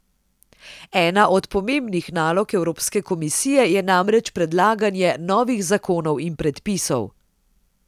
Ena od pomembnih nalog Evropske komisije je namreč predlaganje novih zakonov in predpisov.